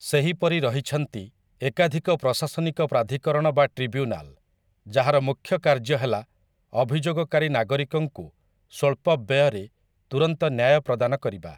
ସେହିପରି ରହିଛନ୍ତି ଏକାଧିକ ପ୍ରଶାସନିକ ପ୍ରାଧିକରଣ ବା ଟ୍ରିବ୍ୟୁନାଲ, ଯାହାର ମୁଖ୍ୟ କାର୍ଯ୍ୟ ହେଲା ଅଭିଯୋଗକାରୀ ନାଗରିକଙ୍କୁ ସ୍ୱଳ୍ପ ବ୍ୟୟରେ ତୁରନ୍ତ ନ୍ୟାୟ ପ୍ରଦାନ କରିବା ।